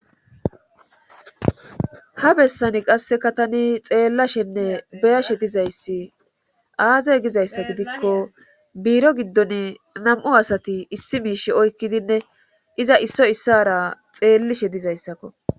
Ha bessani qasseka tani xeellashenne beyashe dizayssi aazey gizayssa gidikko biiro giddon nam'u asati issi miish oykkidinne iza isso issara xeellishe dizayssakko.